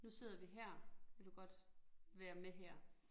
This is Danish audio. Nu sidder vi her, vil du godt være med her